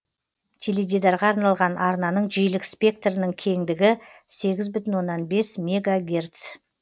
теледидарға арналған арнаның жиілік спектрінің кеңдігі сегіз бүтін оннан бес мегагерц